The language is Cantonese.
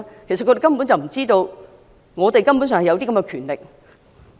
其實他們根本不知道這是本會根本享有的權力。